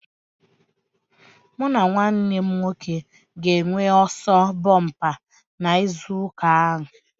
Mụ na nwanne m nwoke ga-enwe ọsọ bompa na izu ụka a